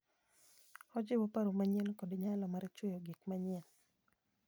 Ojiwo paro manyien kod nyalo mar chueyo gik manyien.